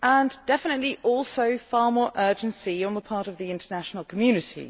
We definitely also need far more urgency on the part of the international community.